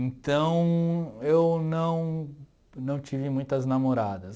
Então, eu não não tive muitas namoradas.